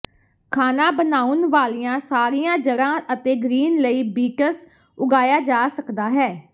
ਖਾਣਾ ਬਣਾਉਣ ਵਾਲੀਆਂ ਸਾਰੀਆਂ ਜੜ੍ਹਾਂ ਅਤੇ ਗ੍ਰੀਨ ਲਈ ਬੀਟਸ ਉਗਾਇਆ ਜਾ ਸਕਦਾ ਹੈ